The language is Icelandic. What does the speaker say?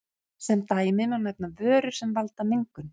Sem dæmi má nefna vörur sem valda mengun.